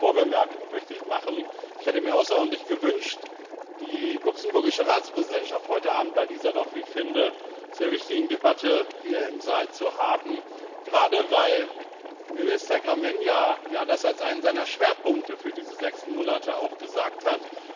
Eine Vorbemerkung möchte ich machen Ich hätte mir außerordentlich gewünscht, die luxemburgische Ratspräsidentschaft heute Abend bei dieser, wie ich finde, doch sehr wichtigen Debatte hier im Saal zu haben, gerade weil Minister Gramegna ja das auch als einen seiner Schwerpunkte für diese sechs Monate genannt hat.